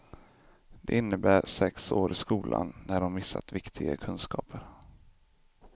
Det innebär sex år i skolan när de missat viktiga kunskaper.